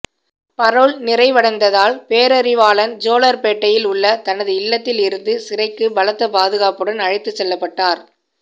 parole நிறைவடைந்ததால் பேரறிவாளன் ஜோலார்பேட்டையில் உள்ள தனது இல்லத்தில் இருந்து சிறைக்கு பலத்த பாதுகாப்புடன் அழைத்துச் செல்லப்பட்டார்